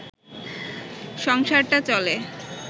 সংসারটা চলে